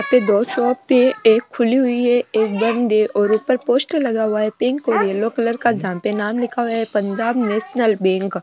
ये दो शॉप थे एक खुली हुई है एक बंद है और ऊपर पोस्टर लगा हुआ है पिंक और येलो कलर का जहा पे लिख हुआ है पंजाब नेशनल बैंक ।